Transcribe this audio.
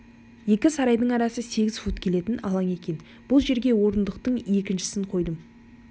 екі сарайдың арасы сегіз фут келетін алаң екен бұл жерге орындықтың екіншісін қойдым